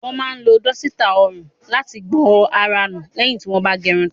Wọ́n máa ń lo dọ́sítà ọrùn láti gbọn ara nù lẹ́yìn tí wọ́n bá gẹrun tán.